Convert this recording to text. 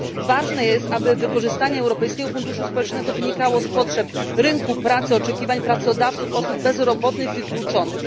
Ważne jest, aby wykorzystanie Europejskiego Funduszu Społecznego wynikało z potrzeb rynku pracy, oczekiwań pracodawców, osób bezrobotnych, wykluczonych.